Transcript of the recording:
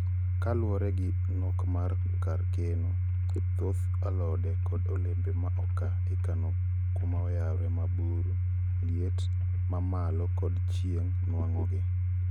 ka luore gi nok mar kar keno, thoth alodekod olembe ma oka ikano kuma oyawre ma buru, liet ma malo kod chieng nwango gi